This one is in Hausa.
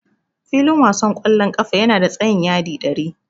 Filin wasan ƙwallon ƙafa yana da tsayin yadi ɗari.